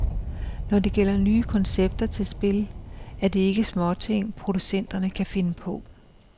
Når det gælder nye koncepter til spil, er det ikke småting, producenterne kan finde på.